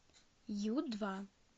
ю два